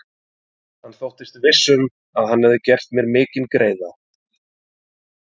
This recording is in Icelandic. Hann þóttist viss um, að hann hefði gert mér mikinn greiða.